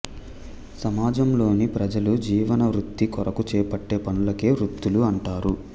సమాజంలోని ప్రజలు జీవనభృతి కొరకు చేపట్టే పనులకే వృత్తులు అంటారు